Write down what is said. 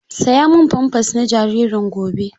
Saya min famfers na jaririn gobe!